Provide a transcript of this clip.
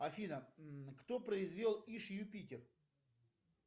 афина кто произвел иж юпитер